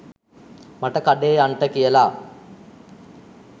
මට කඩේ යන්ට කියල